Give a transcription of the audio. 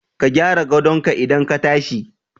Ka gyara gadon ka idan ka tashi